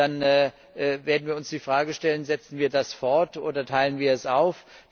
Dann werden wir uns die Frage stellen Setzen wir das fort, oder teilen wir es auf?